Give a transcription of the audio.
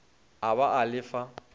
a ba a le fa